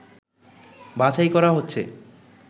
বাছাই করা হচ্ছে